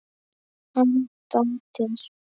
Hann bætir.